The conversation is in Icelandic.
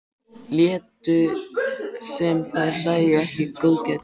Létu sem þær sæju ekki góðgætið.